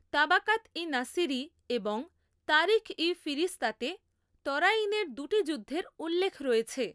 তাবাকাত ই নাসিরি এবং তারিখ ই ফিরিস্তাতে তরাইনের দুটি যুদ্ধের উল্লেখ রয়েছে।